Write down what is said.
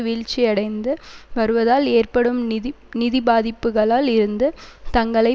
வீழ்ச்சியடைந்து வருவதால் ஏற்படும் நிதி நிதிப்பாதிப்புகளில் இருந்து தங்களை